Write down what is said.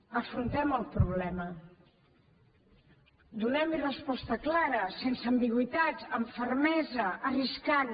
afrontem el problema donem hi resposta clara sense ambigüitats amb fermesa arriscant